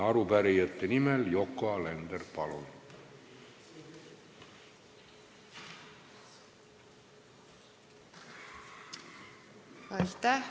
Arupärijate nimel Yoko Alender, palun!